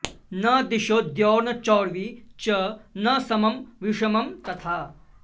न दिशो द्यौर्न चोर्वी च न समं विषमं तथा